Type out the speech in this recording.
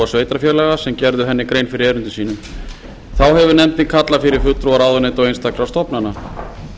sveitarfélaga sem gerðu henni grein fyrir erindum sínum þá hefur nefndin kallað fyrir fulltrúa ráðuneyta og einstakra stofnana